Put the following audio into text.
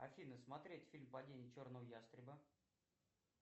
афина смотреть фильм падение черного ястреба